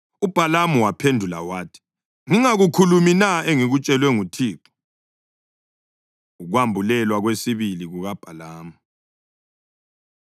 UBhalamu, waphendula wathi, “Ngingakukhulumi na engikutshelwe nguThixo?” Ukwambulelwa Kwesibili KukaBhalamu